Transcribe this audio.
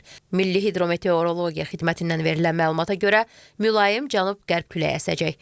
Milli hidrometeorologiya xidmətindən verilən məlumata görə mülayim cənub-qərb küləyi əsəcək.